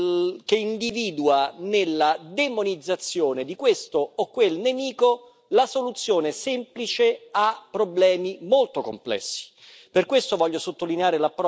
È il metodo che individua nella demonizzazione di questo o quel nemico la soluzione semplice a problemi molto complessi.